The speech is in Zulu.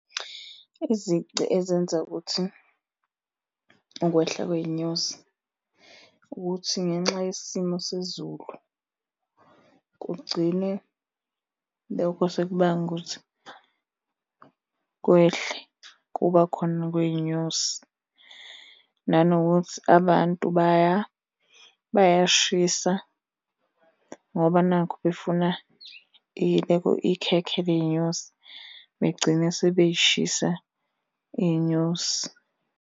Izici ezenza ukuthi ukwehla kwey'nyosi, ukuthi ngenxa yesimo sezulu kugcine lokho sekubanga ukuthi kwehle ukuba khona kwey'nyosi. Nanokuthi abantu bayayishisa ngoba nakhu befuna ikhekhe ley'nyosi, begcine sebey'shisa iy'nyosi.